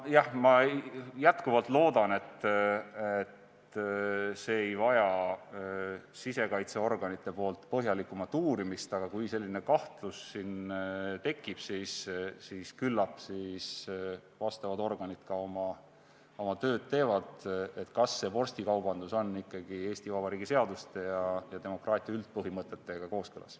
Jah, ma jätkuvalt loodan, et see ei vaja sisekaitseorganite põhjalikumat uurimist, aga kui selline kahtlus siin tekib, küllap siis vastavad organid ka oma tööd teevad, kas see vorstikaubandus on ikkagi Eesti Vabariigi seaduste ja demokraatia üldpõhimõtetega kooskõlas.